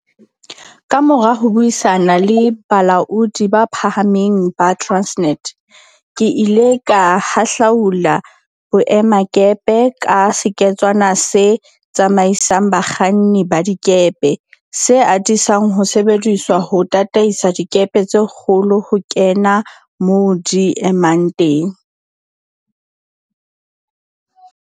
Kamora ho buisana le balaodi ba phahameng ba Transnet, ke ile ka hahlaula boemakepe ka seketswana se tsamaisang bakganni ba dikepe, se atisang ho sebediswa ho tataisa dikepe tse kgolo ho kena moo di emang teng.